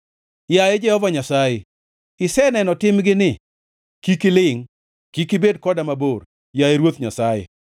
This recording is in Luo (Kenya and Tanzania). Yaye Jehova Nyasaye, iseneno timgini; kik ilingʼ. Kik ibed koda mabor, yaye Ruoth Nyasaye.